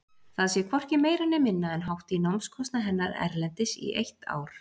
Það sé hvorki meira né minna en hátt í námskostnað hennar erlendis í eitt ár.